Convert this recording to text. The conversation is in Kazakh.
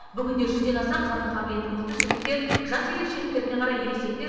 бүгінде жүзден аса қарым қабілеті мықты жігіттер жас ерекшеліктеріне қарай ересектер